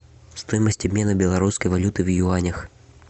стоимость обмена белорусской валюты в юанях